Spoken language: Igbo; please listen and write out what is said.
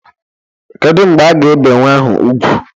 Kedu mgbe a ga-ebe nnwa ahụ ugwu?